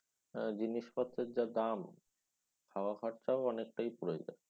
হ্যাঁ জিনিসপত্রের যা দাম খাওয়া খরচাও অনেকটাই পরে যায়।